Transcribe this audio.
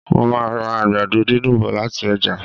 Mo màá ra àgbàdo dídùn bọ̀ lati ọ́jà